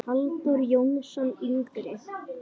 Halldór Jónsson yngri.